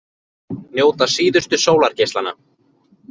Njóta síðustu sólargeislanna